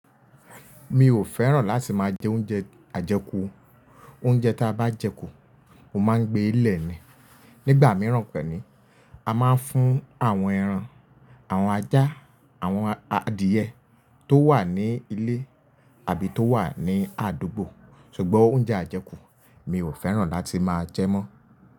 Mi ò fẹ́ràn láti máa jẹ oúnjẹ ajẹkù. Oúnjẹ tí a bá jẹ kù, ó máa ń gbé lẹ̀ ni. Nígbà mìíràn pẹ̀ni, a máa ń fún àwọn ẹran, àwọn ajá, àwọn adìẹ tó wà ní ilé àbí tó wà ní àdúgbò. Ṣùgbọ́n oúnjẹ ajẹkù mi ò fẹ́ràn láti máa jẹ mọ́